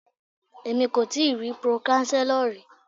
Èmi kò tíì rí pro-chancellor rí.